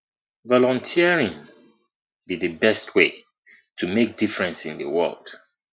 volunteering be di best way to make difference in di world